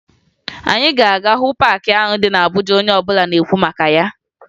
Anyị ga-aga hụ paakị ahụ dị na Abuja onye ọbụla na-ekwu maka ya